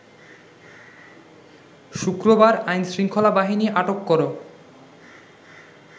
শুক্রবার আইনশৃঙ্খলা বাহিনী আটক কর